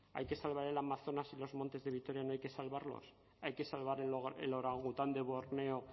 hay que salvar el amazonas y los montes de vitoria no hay que salvarlos hay que salvar el orangután de borneo